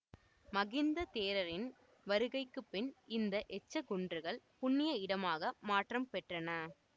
மகிந்த தேரரின் வருகைக்கு பின் இந்த எச்சக்குன்றுகள் புண்ணிய இடமாக மாற்றம் பெற்றன